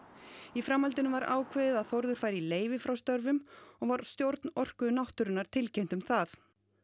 í framhaldinu var ákveðið að Þórður færi í leyfi frá störfum og var stjórn Orku náttúrunnar tilkynnt um það